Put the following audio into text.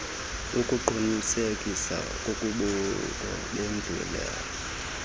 ukuqunisekisa kobukho bendlela